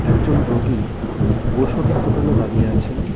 একজন রোগী ওষুধের দোকানে দাঁড়িয়ে আছেন.